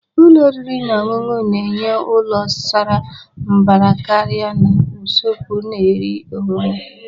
Ụlọ oriri na ọṅụṅụ na-enye ụlọ sara mbara karị na usekwu na-eri onwe ya.